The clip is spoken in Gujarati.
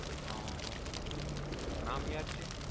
નામ યાદ છે?